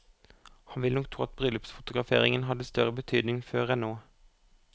Han vil nok tro at bryllupsfotograferingen hadde større betydning før enn nå.